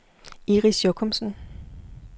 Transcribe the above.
Iris Jochumsen